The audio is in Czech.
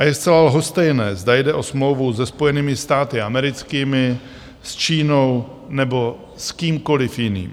A je zcela lhostejné, zda jde o smlouvu se Spojenými státy americkými, s Čínou nebo s kýmkoliv jiným.